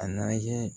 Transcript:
A na ye